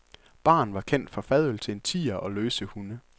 Baren var kendt for fadøl til en tier og løse hunde.